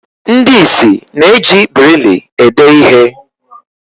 Ndi ̣ịsị na-eji birili ede ihe